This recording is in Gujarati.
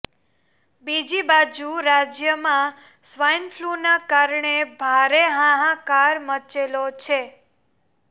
બીજી બાજુ રાજ્યમાં સ્વાઈન ફ્લૂના કારણે ભારે હાહાકાર મચેલો છે